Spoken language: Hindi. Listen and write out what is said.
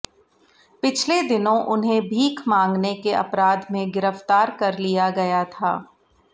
पिछले दिनों उन्हें भीख मांगने के अपराध में गिरफ्तार कर लिया गया था